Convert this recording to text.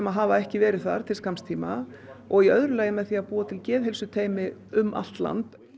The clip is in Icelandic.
hafa ekki verið þar til skamms tíma og í öðru lagi með því að búa til geðheilsuteymi um allt land